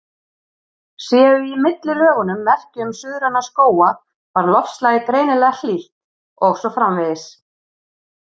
Séu í millilögunum merki um suðræna skóga var loftslagið greinilega hlýtt, og svo framvegis.